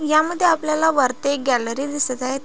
ह्यामध्ये आपल्याला वरती एक गॅलरी दिसत आहे.